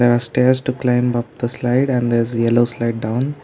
a stairs to climb up the slide and there is a yellow slide down.